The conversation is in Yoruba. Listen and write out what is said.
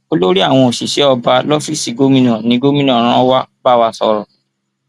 olórí àwọn òṣìṣẹ ọba lọfíìsì gómìnà ní gómìnà rán wàá bá wa sọrọ